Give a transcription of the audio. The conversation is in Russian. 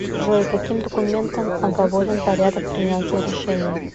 джой каким документом оговорен порядок принятия решений